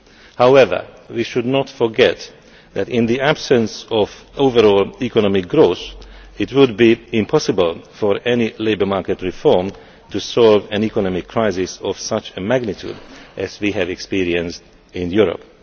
However, we should not forget that, in the absence of overall economic growth, it would be impossible for any labour market reform to solve and economic crisis of such a magnitude as we have experienced in Europe.